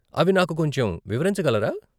అవి నాకు కొంచెం వివరించగలరా ?